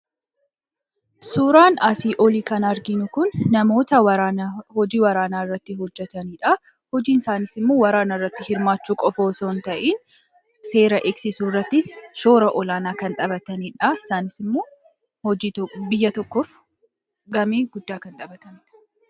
suuraan aasii olii kan argiinu kun namoota hojii waraanaa irratti hojjetaniidha hojiin saanisimmuu waraana irratti hirmaachuu qofoosoon ta'in seera eksiisu rratti shoora olaanaa kan xabataniidha saanisimmu biyya 1f gamii guddaa kan xabataniidha